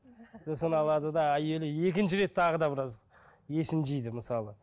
сосын алады да әйелі екінші рет тағы да біраз есін жейді мысалы